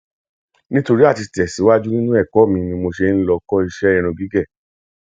nítorí a ti lè tẹsíwájú nínú ẹkọ mi ni mo ṣe lọ ń kọ iṣẹ irun gígé